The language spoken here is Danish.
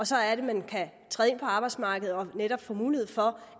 så er det man kan træde ind på arbejdsmarkedet og netop få mulighed for